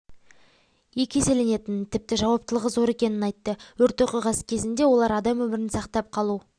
екі еселенетінін тіпті жауаптылығы зор екенін айтты өрт оқиғасы кезінде олар адам өмірін сақтап қалу